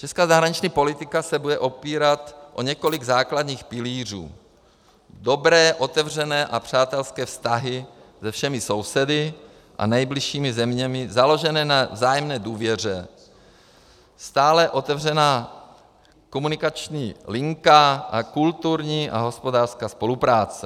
Česká zahraniční politika se bude opírat o několik základních pilířů - dobré, otevřené a přátelské vztahy se všemi sousedy a nejbližšími zeměmi založené na vzájemné důvěře, stále otevřená komunikační linka a kulturní a hospodářská spolupráce.